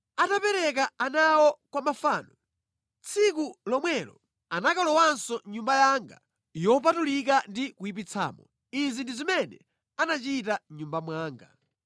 Atapereka ana awo kwa mafano, tsiku lomwelo anakalowanso mʼNyumba yanga yopatulika ndi kuyipitsamo. Izi ndi zimene anachita mʼNyumba mwanga.